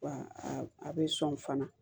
Wa a bɛ sɔn fana